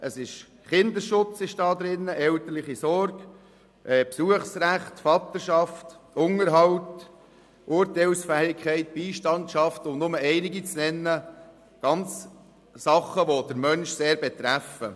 Enthalten ist beispielsweise der Kinderschutz, die elterliche Sorge, das Besuchsrecht, die Vaterschaft, der Unterhalt, die Urteilsfähigkeit, die Beistandschaft – alles Dinge, die den Menschen sehr betreffen.